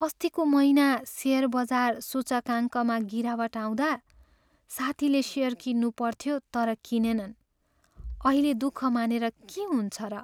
अस्तिको महिना सेयर बजार सूचकाङ्कमा गिरावट आउँदा साथील सेयर किन्नुपर्थ्यो तर किनेनन्। अहिले दुःख मानेर के हुन्छ र?